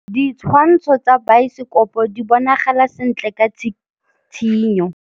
Ditshwantshô tsa biosekopo di bonagala sentle ka tshitshinyô.